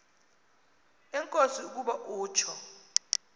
enkosi ukuba utsho